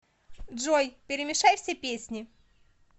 джой перемешай все песни